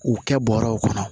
U kɛ bɔrɛw kɔnɔ